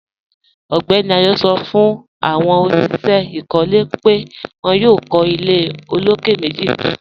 Ọgbẹ́ni Ayọ̀ sọ̀ fún awọn oníṣẹ ikọ́lẹ̀ pẹ̀ wọn yóò kọ̀ ilẹ̀ òlókè̀ mẹ́jì kan.